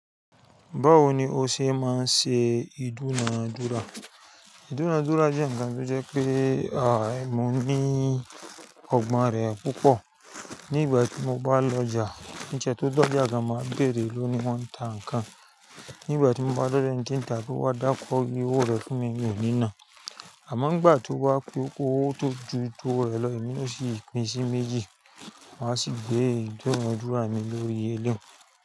Báwo ni o ṣe máa ń ṣe ìdúnadúrà? Ìdúnadúrà jẹ́ ǹkan tó jẹ́ pé, àììmọ̀ ní ọgbọ́n rẹ̀ púpọ̀. Nígbà tí mo bá lọ ọjà, ní ìṣẹ́ tó dọ́jà máa béèrè ló ni wọ́n ń tà ǹkan. Nígbà tí mo bá dọ́dẹ́ ǹkan tí ń tà bí ó bá dákọ́ wí owó rẹ̀ fún mi, mi ò ní nà. Àmọ́ nígbà tó wá pé owó tó ju tó rẹ̀ lọ, èmi ló sì pín sí méjì. Máa sì gbé ìdúnadúrà mi lórí ẹlẹ́hùn.